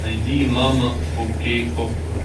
найди мама фо кей окко